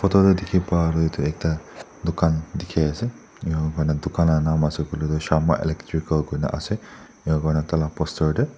photo te dikhi pa toh etu ekta dukan dikhi ase enahoina dukan la nam ase koile toh sharma electrical koina ase ena kuina taila poster te.